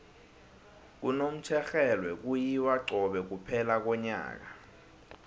kunomtjherhelwe kuyiwa cobe kuphela konyaka